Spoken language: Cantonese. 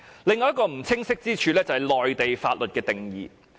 另一個不清晰之處是內地法律的定義。